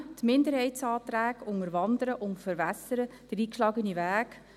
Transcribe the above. Die Minderheitsanträge unterwandern und verwässern den eingeschlagenen Weg.